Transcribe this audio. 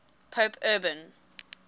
pope urban